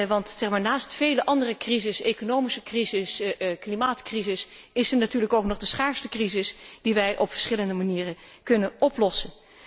Want naast vele andere crises, economische crisis, klimaatcrisis, is er natuurlijk ook nog de schaarstecrisis, die wij op verschillende manieren kunnen oplossen.